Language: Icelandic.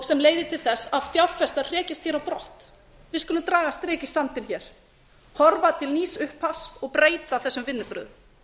sem leiðir til þess að fjárfestar hrekjast á brott við skulum draga strik í sandinn horfa til nýs upphafs og breyta þessum vinnubrögðum